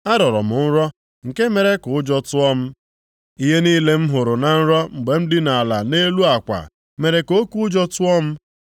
Arọrọ m nrọ, nke mere ka ụjọ tụọ m. Ihe niile m hụrụ na nrọ mgbe m dina ala nʼelu akwa mere ka oke ụjọ tụọ m.